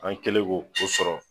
An kɛlen k'o o sɔrɔ